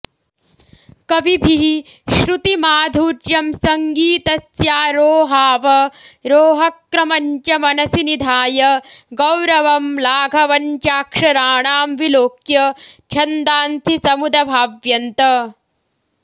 कविभिः श्रुतिमाधुर्यं सङ्गीतस्यारोहावरोहक्रमञ्च मनसि निधाय गौरवं लाघवञ्चाक्षराणां विलोक्य छन्दांसि समुदभाव्यन्त